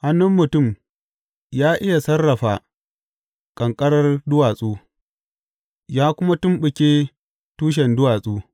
Hannun mutum ya iya sarrafa ƙanƙarar duwatsu, yă kuma tumɓuke tushen duwatsu.